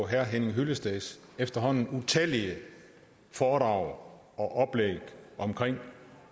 herre henning hyllesteds efterhånden utallige foredrag og oplæg om